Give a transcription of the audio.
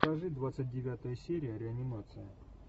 покажи двадцать девятая серия реанимация